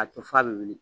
A to f'a bɛ wili